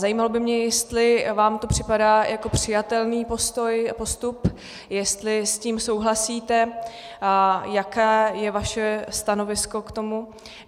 Zajímalo by mě, jestli vám to připadá jako přijatelný postup, jestli s tím souhlasíte, jaké je vaše stanovisko k tomu.